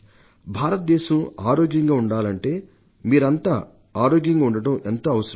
భారతదేశం ఆరోగ్యంగా ఉండాలంటే మీరందరూ ఆరోగ్యంగా ఉండటం ఎంతో అవసరం